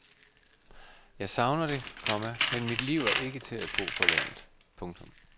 Jeg savner det, komma men mit liv er ikke til at bo på landet. punktum